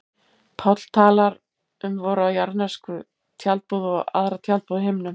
Páll talar um vora jarðnesku tjaldbúð og aðra tjaldbúð á himnum.